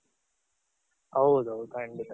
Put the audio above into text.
ಹೌದೌದು ಖಂಡಿತ.